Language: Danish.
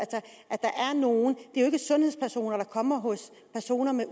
det er jo ikke sundhedspersoner der kommer hos personer der